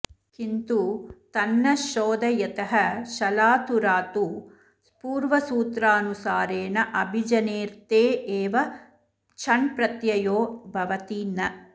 किन्तु तन्न शोध यतः शलातुरात्तु पूर्वसूत्रानुसारेणाभिजनेऽर्थे एव छण्प्रत्ययो भवति न